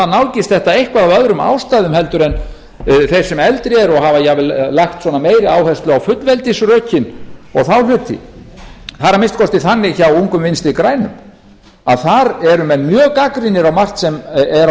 nálgist þetta eitthvað af öðrum ástæðum en þeir sem eldri eru og hafa jafnvel lagt svona meiri áherslu á fullveldisrökin og þá hluti það er að minnsta kosti þannig hjá ungum vinstri grænum að þar eru menn mjög gagnrýnir á margt sem er á